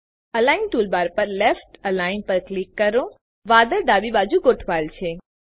align toolbar પર left align પર click કરો વાદળ ડાબી બાજુ ગોઠવાયેલ છે